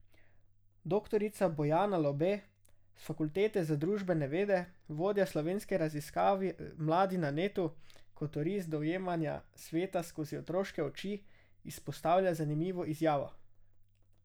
Doktorica Bojana Lobe s Fakultete za družbene vede, vodja slovenske raziskave Mladi na netu, kot oris dojemanja sveta skozi otroške oči, izpostavlja zanimivo izjavo.